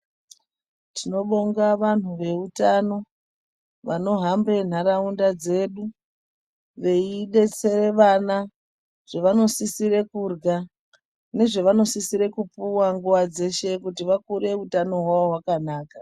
Tinobonga vantu veutano vanohambe nharaunda dzedu. Veibetsere vana zvavanosisire kurya nezvevanosisire kupuwa nguva dzeshe kuti vakure utano hwawo hwakanaka.